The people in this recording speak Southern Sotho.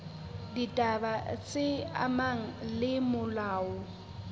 ditaba tse amanang le molao